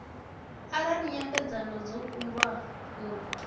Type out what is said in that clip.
arali nyambedzano dzo kundwa u